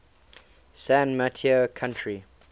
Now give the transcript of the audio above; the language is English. san mateo county